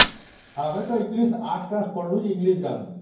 ଆମେ ତ ଆଠ class ରେ English ଜାଣିଲୁ